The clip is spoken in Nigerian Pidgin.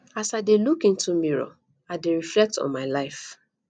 as i dey look into mirror i dey reflect on my life